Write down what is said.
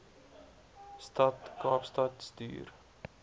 stad kaapstad stuur